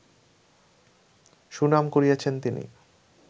সুনাম কুড়িয়েছেন তিনি